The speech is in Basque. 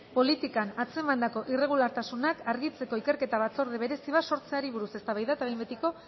politikan atzemandako irregulartasunak argitzeko ikerketa batzorde berezi bat sortzeari buruz eztabaida eta behin betiko